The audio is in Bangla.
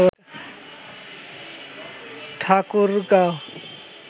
ঠাকুরগাঁও